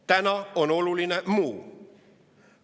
Täna on oluline muu.